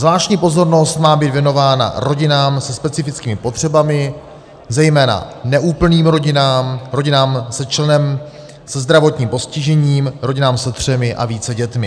Zvláštní pozornost má být věnována rodinám se specifickými potřebami, zejména neúplným rodinám, rodinám se členem se zdravotním postižením, rodinám se třemi a více dětmi.